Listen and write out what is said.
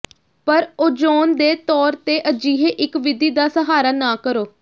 ਪਰ ਓਜ਼ੋਨ ਦੇ ਤੌਰ ਤੇ ਅਜਿਹੇ ਇੱਕ ਵਿਧੀ ਦਾ ਸਹਾਰਾ ਨਾ ਕਰੋ